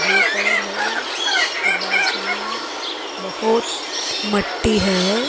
Blue colour है और बाजू में बहोत मट्टी है।